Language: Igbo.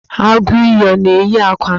Agụiyi ọ na-eyi akwa?